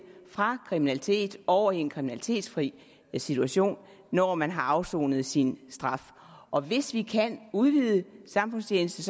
fra kriminalitet over i en kriminalitetsfri situation når man har afsonet sin straf og hvis vi kan udvide samfundstjeneste